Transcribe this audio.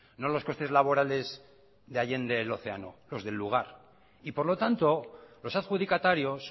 no los costes laborales de allende el océano los del lugar y por lo tanto los adjudicatarios